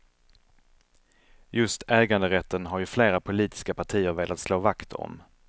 Just äganderätten har ju flera politiska partier velat slå vakt om.